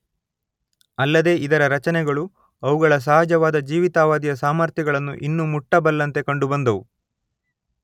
ಅಲ್ಲದೇ ಇದರ ರಚನೆಗಳು ಅವುಗಳ ಸಹಜವಾದ ಜೀವಿತಾವಧಿಯ ಸಾಮರ್ಥ್ಯಗಳನ್ನು ಇನ್ನೂ ಮುಟ್ಟಬಲ್ಲಂತೆ ಕಂಡುಬಂದವು.